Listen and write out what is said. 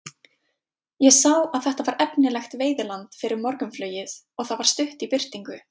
Ég sá að þetta var efnilegt veiðiland fyrir morgunflugið og það var stutt í birtingu.